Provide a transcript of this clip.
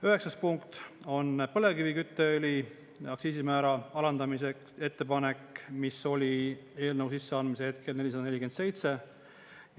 Üheksas punkt on põlevkivikütteõli aktsiisimäära alandamise ettepanek, mis oli eelnõu sisseandmise hetkel 447.